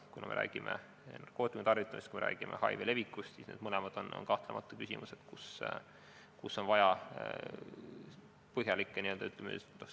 Kui me räägime narkootikumide tarvitamisest, kui me räägime HIV levikust, siis need mõlemad on kahtlemata küsimused, millega on vaja põhjalikult tegelda.